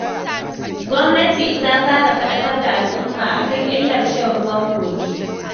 Gwamnati ta fara faɗakar da al'umma a kan illar shan ruwan kogi.